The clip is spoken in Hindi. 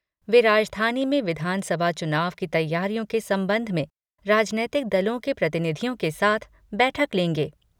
वे राजधानी में विधानसभा चुनाव की तैयारियों के संबंध में राजनैतिक दलों के प्रतिनिधियों के साथ बैठक लेंगे।